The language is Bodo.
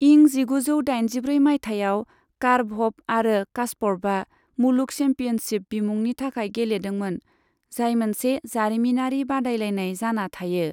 इं जिगुजौ दाइनजिब्रै माइथायाव, कारपभ आरो कास्परभआ मुलुग चेम्पियनशिप बिमुंनि थाखाय गेलेदोंमोन, जाय मोनसे जारिमिनारि बादायलायनाय जाना थायो।